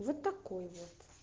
вот такой вот